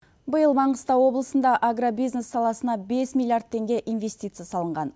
биыл маңғыстау облысында агробизнес саласына бес миллиард теңге инвестиция салынған